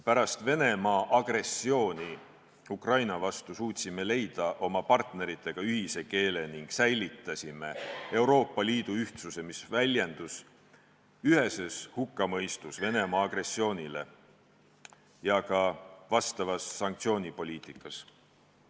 Pärast Venemaa agressiooni Ukraina vastu suutsime leida oma partneritega ühise keele ning säilitasime Euroopa Liidu ühtsuse, mis väljendus Venemaa agressiooni üheses hukkamõistus ja ka vastavas sanktsioonipoliitikas.